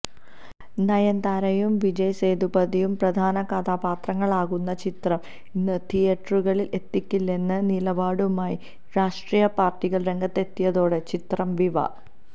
നയൻതാരയും വിജയ് സേതുപതിയുംപ്രധാന കഥാപാത്രങ്ങളാകുന്ന ചിത്രം ഇന്ന് തിയേറ്ററുകളിൽ എത്തിക്കില്ലെന്ന നിലപാടുമായി രാഷ്ട്രീയ പാർട്ടികൾ രംഗത്തെത്തിയതോടെ ചിത്രം വിവ